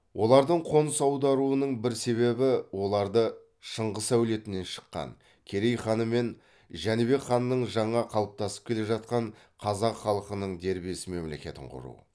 олардың қоныс аударуының бір себебі оларды шыңғыс әулетінен шыққан керей хан мен жәнібек ханның жаңа қалыптасып келе жатқан қазақ халқының дербес мемлекетін құру